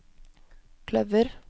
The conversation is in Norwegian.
kløver